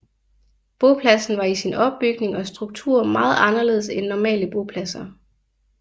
Bopladsen var i sin opbygning og struktur meget anderledes end normale bopladser